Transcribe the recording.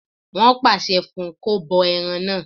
Wọ́n pàṣẹ fún un kó bọ ẹran náà